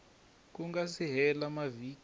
ku nga si hela mavhiki